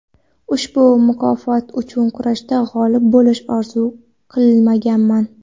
Ushbu mukofot uchun kurashda g‘olib bo‘lishni orzu qilmaganman.